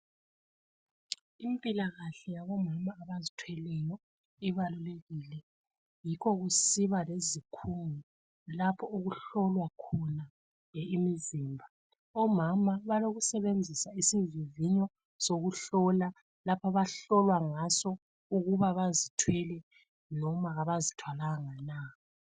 Impilakahle yabomama abazithweleyo ibalulekile yikho kusiba lezikhungo lapho okuhlolwa khona imizimba ,omama balokusebenzisa isivivinyo sokuhlola abahlolwa ngaso ukuba bazithwele loba abazithwalanga na.